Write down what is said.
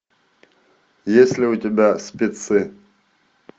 есть ли у тебя спецы